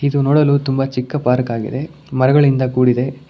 ಇದು ನೋಡಲು ತುಂಬಾ ಚಿಕ್ಕ ಪಾರ್ಕ್ ಆಗಿದೆ ಮರಗಳಿಂದ ಕೂಡಿದೆ.